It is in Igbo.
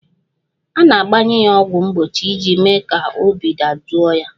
A na-agbanye ya ọgwụ mgbochi iji mee ka obi dajụọ ya